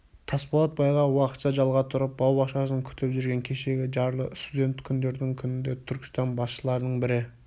тасболат байға уақытша жалға тұрып бау-бақшасын күтіп жүрген кешегі жарлы студент күндердің күнінде түркістан басшыларының бірі